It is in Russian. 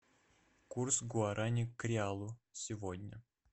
курс гуарани к реалу сегодня